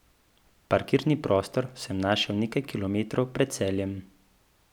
Parkirni prostor sem našel nekaj kilometrov pred Celjem ...